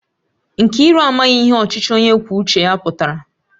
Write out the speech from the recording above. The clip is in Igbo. Nkiru amaghi ihe ochichi onye kwuo uche ya putara